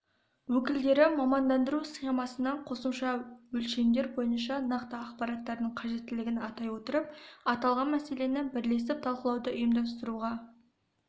өкілдері мамандандыру схемасына қосымша өлшемдер бойынша нақты ақпараттардың қажеттілігін атай отырып аталған мәселені бірлесіп талқылауды ұйымдастыруға